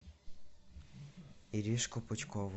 иришку пучкову